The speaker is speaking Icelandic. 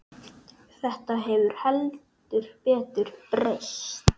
Þetta hefur heldur betur breyst.